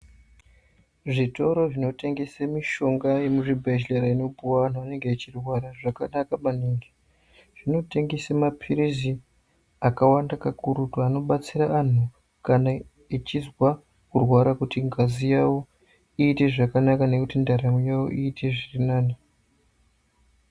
Zvitoro zvinotengese mishonga yemuzvibhedhlera inopihwa vantu vanenge vachirwara zvakanaka maningi. Zvinotengese maphiritsi akawanda kakurutu anobatsira vantu kana vachirwara kuita kuti ngazi yavo iite zvakanaka nekuti ndaramo yavo iite zvirinani.